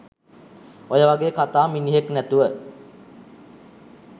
ඔය වගේ කතා මිනිහෙක් නැතුව